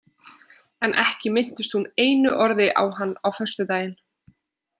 En ekki minntist hún einu orði á hann á föstudaginn.